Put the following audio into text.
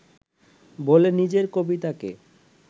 বলে নিজের কবিতাকে